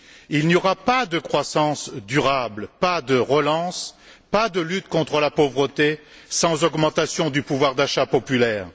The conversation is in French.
Il n'y aura pas de croissance durable, pas de relance, pas de lutte contre la pauvreté sans augmentation du pouvoir d'achat populaire.